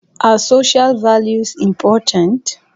Are social values ​​important?